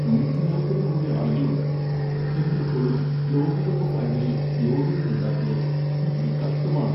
നൂറ്റി നാൽപത് കോടി ആളുകളുണ്ട്. ഇന്ത്യ ഇപ്പഴും ലോകകപ്പ് ഫൈനലിൽ യോഗ്യത നേടാത്തത് എന്ത് കഷ്ടമാണ്!